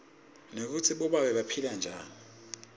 nekutsi bobabe baphila njani